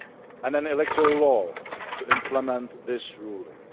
and an electoral law to implement this ruling.